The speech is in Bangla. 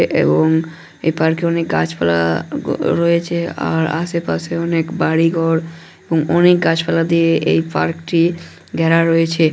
এ এবং এ পার্ক -এ অনেক গাছপালা-আ রয়েছে আর আশেপাশে অনেক বাড়িঘর অনেক গাছপালা দিয়ে এই পার্ক -টি ঘেরা রয়েছে।